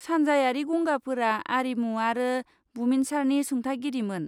सानजायारि गंगाफोरा आरिमु आरो बुमिनसारनि सुंथागिरिमोन।